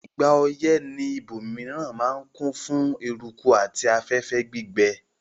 Ìgbà oyẹ́ ni àwon ibòmiran ma n kún fún eruku àti afẹ́fẹ́ gbígbẹ